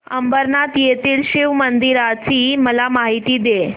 अंबरनाथ येथील शिवमंदिराची मला माहिती दे